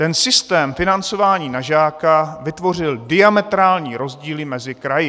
Ten systém financování na žáka vytvořil diametrální rozdíly mezi kraji.